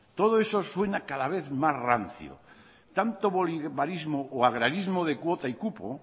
todo eso suena cada vez más rancio tanto bolivarismo o agrarismo de cuota y cupo